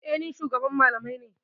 E, ni ne shugaban malamai.